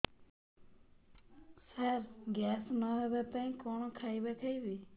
ସାର gas ନ ହେବା ପାଇଁ କଣ ଖାଇବା ଖାଇବି